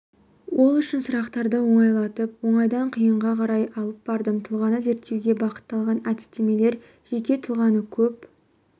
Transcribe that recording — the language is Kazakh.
ол үшін сұрақтарды оңайлатып оңайдан қиынға қарай алып бардым тұлғаны зерттеуге бағытталған әдістемелер жеке тұлғаны көп